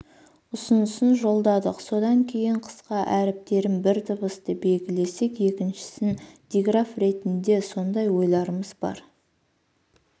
ұсынысын жолдадық содан кейін қысқа әріптерін бір дыбысты белгілесек екіншісін диграф ретінде сондай ойларымыз бар